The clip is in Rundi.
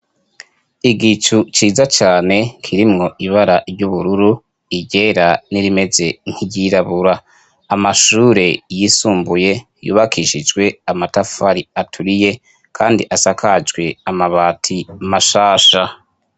Igicu ciza cane kirimwo ibara ry'ubururu, iryera n'irimeze nk'iryirabura. Amashure yisumbuye yubakishijwe amatafari aturiye, kandi asakajwe amabati mashasha.